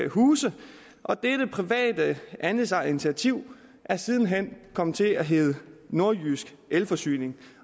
huse og dette private andelsejerinitiativ er siden hen komme til at hedde nordjysk elforsyning